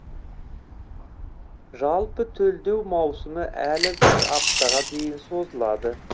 жалпы төлдеу маусымы әлі бір аптаға дейін созылады